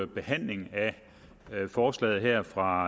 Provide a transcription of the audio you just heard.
behandling af forslaget her fra